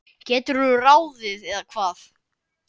geturðu ráðið, eða hvað?